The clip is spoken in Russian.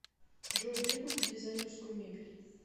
джой где купить дизайнерскую мебель